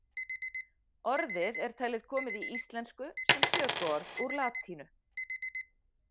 Orðið er talið komið í íslensku sem tökuorð úr latínu.